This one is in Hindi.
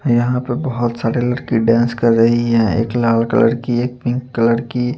यहाँ पर बहोत सारे लड़की डांस कर रही है एक लाल कलर की एक पिंक कलर की--